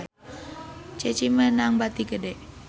Ceci meunang bati gede